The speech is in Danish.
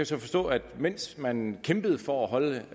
så forstå at mens man kæmpede for at holde